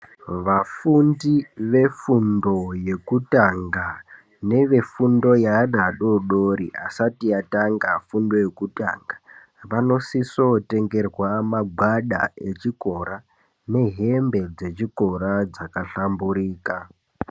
Vafundi vefundo yekutanga, nevefundo yeanhu adori dori asati atanga fundo yekutanga vanosiso kutengerwa magwada echikora, nehembe dzechikora dzaka hlamburika.